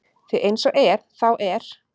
Því eins og er þá er